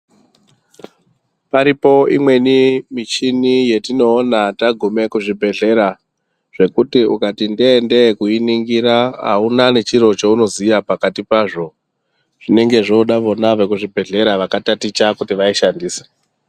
Paripo imweni michini yetinoona tagume kuzvibhedhlera, zvekuti ukati nde-e nde-e kuiningira auna nechiro chaunoziya pakati pazvo, zvinenge zvooda vona vekuzvibhedhlera vakataticha kuti vaishandise.